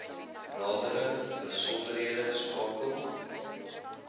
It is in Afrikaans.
nadere besonderhede skakel